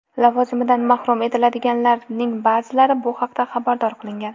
Lavozimidan mahrum etiladiganlarning ba’zilari bu haqda xabardor qilingan.